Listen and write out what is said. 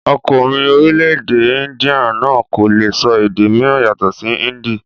Ọkùnrin orílẹ̀-èdè índíà náà kò le sọ èdè mìíràn yàtọ̀ sí índì.